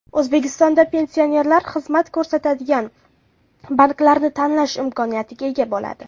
O‘zbekistonda pensionerlar xizmat ko‘rsatadigan banklarni tanlash imkoniyatiga ega bo‘ladi.